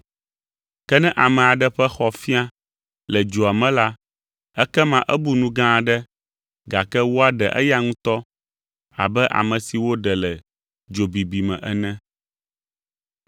Ke ne ame aɖe ƒe xɔ fia le dzoa me la ekema ebu nu gã aɖe gake woaɖe eya ŋutɔ abe ame si woɖe le dzo bibi me ene.